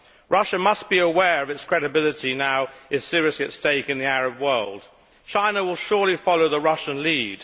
Russia must be aware that its credibility now is seriously at stake in the Arab world. China will surely follow the Russian lead.